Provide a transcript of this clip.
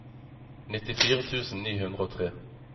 nittifire tusen ni hundre og tre